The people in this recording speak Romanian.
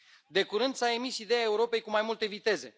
De curând, s a emis ideea Europei cu mai multe viteze.